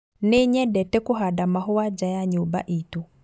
Nĩnyendete kũhanda mahũa nja ya nyũmba itũ